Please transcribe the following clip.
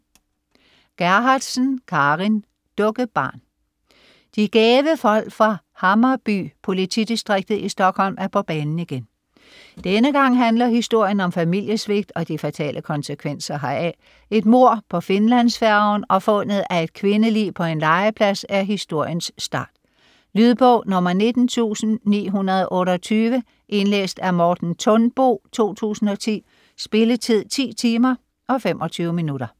Gerhardsen, Carin: Dukkebarn De gæve folk fra Hammarby-politidistriktet i Stockholm er på banen igen. Denne gang handler historien om familiesvigt og de fatale konsekvenser heraf. Et mord på Finlandsfærgen og fundet af et kvindelig på en legeplads er historiens start. Lydbog 19928 Indlæst af Morten Thunbo, 2010. Spilletid: 10 timer, 25 minutter.